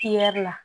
la